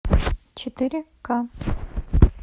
четыре ка